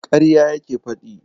Ƙarya yake faɗi.